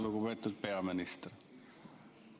Lugupeetud peaminister!